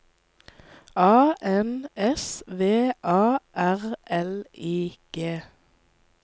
A N S V A R L I G